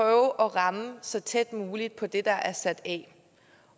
at ramme så tæt som muligt på det der er sat af